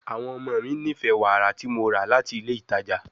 Awọn ọmọ mi nifẹ wara ti Mo ra lati ile itaja